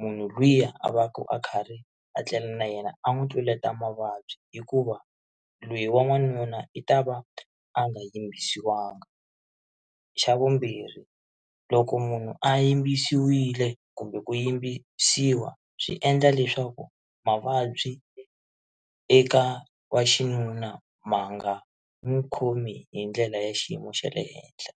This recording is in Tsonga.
munhu luya a va ka a karhi a tlela na yena a n'wi tluleta mavabyi hikuva loyi wa n'wanuna i ta va a nga yimbisiwangi xa vumbirhi loko munhu a yimbisiwile kumbe ku yimbisiwa swi endla leswaku mavabyi eka wa xinuna ma nga n'wi khomi hi ndlela ya xiyimo xa le henhla.